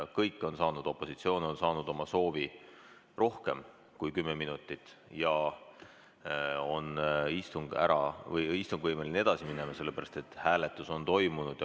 Opositsioon on saanud oma soovi rohkem kui kümme minutit ja istung on võimeline edasi minema, sellepärast et hääletus on toimunud.